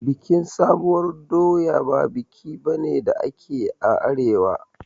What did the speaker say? Bikin sabuwar doya ba biki bane da ake a arewa